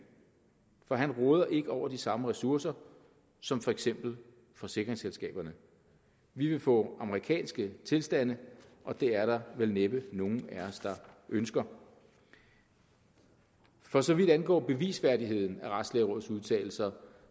for han råder ikke over de samme ressourcer som for eksempel forsikringsselskaberne vi vil få amerikanske tilstande og det er der vel næppe nogen af os der ønsker for så vidt angår bevisværdigheden af retslægerådets udtalelser